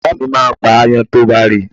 Ìyá mi máa ń pa aáyán tí ó bá rí.